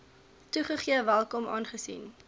toegegee welkom aangesien